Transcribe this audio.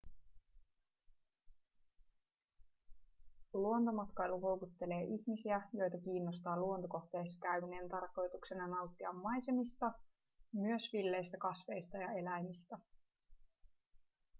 luontomatkailu houkuttelee ihmisiä joita kiinnostaa luontokohteissa käyminen tarkoituksena nauttia maisemista myös villeistä kasveista ja eläimistä